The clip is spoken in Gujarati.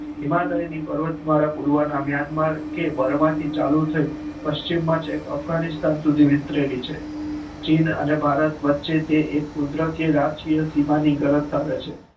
હિમાલયની પર્વતમાળા મ્યાનમાર થી ચાલુ થ ઈ પચિમના અભ્ગાનીસ્તાન સુધી વિસ્તરેલો છે ચીન અને ભારત વચેથી કુદરત ભીમની માળા છે